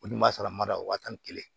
Olu dun b'a sara mada wa tan ni kelen